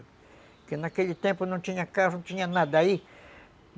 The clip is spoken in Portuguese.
Porque naquele tempo não tinha carro, não tinha nada aí.